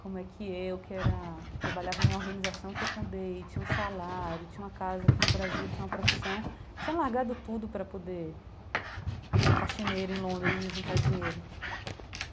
como é que eu, que era trabalhava numa organização que eu fundei, tinha um salário, tinha uma casa aqui no Brasil, tinha uma profissão, tinha largado tudo para poder ser faxineira em Londres e juntar dinheiro.